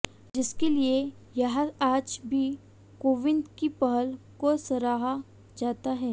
जिसके लिए यहां आज भी कोविंद की पहल को सराहा जाता है